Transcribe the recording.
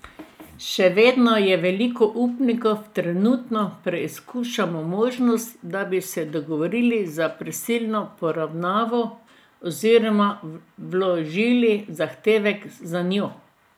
Še vedno je veliko upnikov, trenutno preizkušamo možnost, da bi se dogovorili za prisilno poravnavo oziroma vložili zahtevek zanjo.